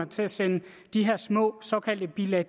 til at sende de her små såkaldte bilag